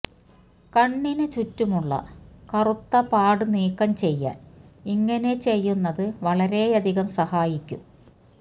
കണ്ണിന് ചുറ്റുമുള്ള കറുത്ത പാട് നീക്കം ചെയ്യാന് ഇങ്ങനെ ചെയ്യുന്നത് വളരെയധികം സഹായിക്കും